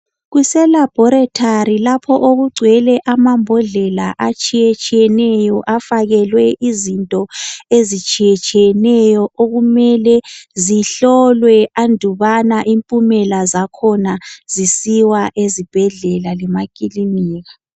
Kuselabhorethori lapho okugcwele amambodlela atshiyetshiyeneyo afakelwe izinto ezehlukehlukeneyo okumele zihlolwe andubana imiphumela yakhona isiwe ezibhedlela lasemakilinika.